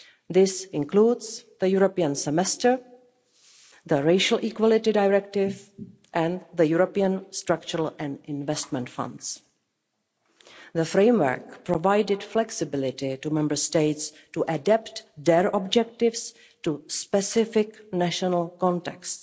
These include the European Semester, the Racial Equality Directive and the European structural and investment funds. The framework provided flexibility for Member States to adapt their objectives to specific national contexts.